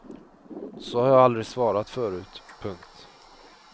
Så har jag aldrig svarat förut. punkt